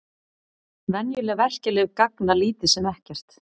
Venjuleg verkjalyf gagna lítið sem ekkert.